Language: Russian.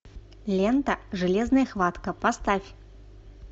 лента железная хватка поставь